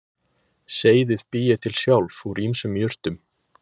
Seyðið bý ég til sjálf úr ýmsum jurtum